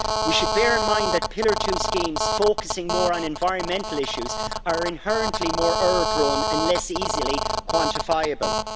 We should bear in mind that Pillar 2 schemes focusing more on environmental issues are inherently more error prone and less easily quantifiable.